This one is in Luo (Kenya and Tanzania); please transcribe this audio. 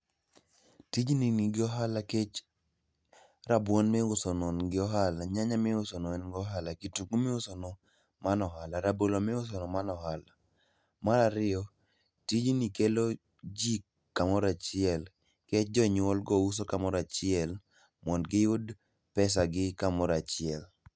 Tijni nigi ohala kech rabuon miusono ngo ohala, nyanya miusono en go ohala, kitungu miusono mano ohala, rabolo miusono mano ohala. Mar ariyo, tijni kelo ji kamoro achiel nkech jonyuolgo uso kamoro achiel mond giyud pesagi kamoro achiel.